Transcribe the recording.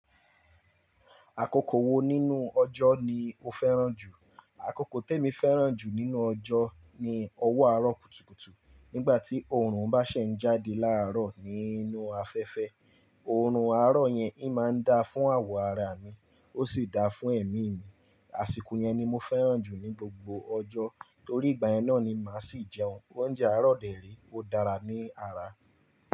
Àkókò wo nínú ọjọ́ ni o fẹ́ràn jù? Àkókò tèmi fẹ́ràn jù nínú ọjọ́ ni ọwọ́ àárọ̀ kùtùkùtù. Nígbà tí oòrùn bá ṣe ń jáde láàárọ̀ nínú afẹ́fẹ́, oòrùn àárọ̀ yẹn in máa ń dá fún àwọ̀ ara mi, ó sì dáa fún ẹmí mi. Àsìkò yẹn ni mo fẹ́ràn jù ní gbogbo ọjọ́, torí ìgbà yẹn náà ni màá sì jẹun. Oúnjẹ àárọ̀ dẹ ré, ó dára ní ara.